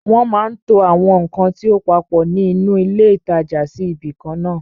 Wọ́n máa ń to àwọn ǹkan tí ó papọ̀ nínú ilé ìtajà sí ibi ìkan náà àn